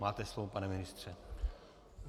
Máte slovo, pane ministře.